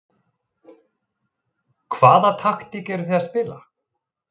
Hvaða taktík eruð þið að spila?